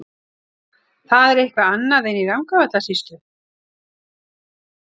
Það er eitthvað annað en í Rangárvallasýslu.